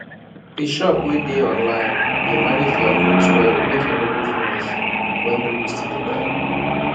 the shop wey dey online dey manage their goods well make e no go finish when people still dey buy